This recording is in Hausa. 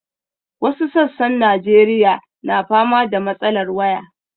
Wasu sassan Najeriya na fama da matsalar waya.